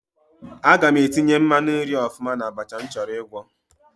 Aga m etinye mmanụ nri ọfụma n'abacha m chọrọ ịgwọ.